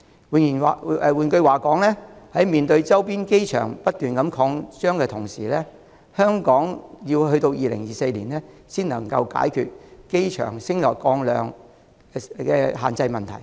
換言之，在面對周邊機場不斷擴張的同時，香港要於2024年後才能解決機場升降量限制的問題。